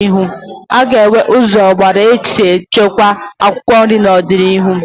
A ga-enwe ụzọ ọgbara ọhụrụ esi echekwa akwụkwọ nri n'ọdịnihu